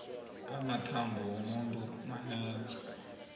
amathambo womuntu manengi